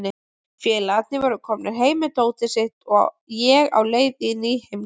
Félagarnir voru komnir heim með dótið sitt og ég á leið í ný heimkynni.